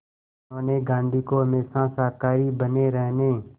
उन्होंने गांधी को हमेशा शाकाहारी बने रहने